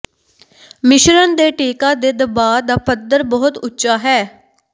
ਮਿਸ਼ਰਣ ਦੇ ਟੀਕਾ ਦੇ ਦਬਾਅ ਦਾ ਪੱਧਰ ਬਹੁਤ ਉੱਚਾ ਹੈ